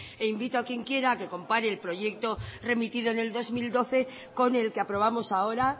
e invito a quien quiera a que compare el proyecto remitido en el dos mil doce con el que aprobamos ahora